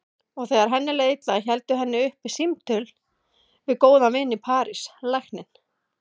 Og þegar henni leið illa héldu henni uppi símtölin við góðan vin í París, lækninn